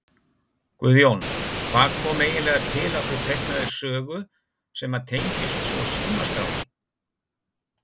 Guðjón: Hvað kom eiginlega til að þú teiknaðir sögu sem að tengist svo Símaskránni?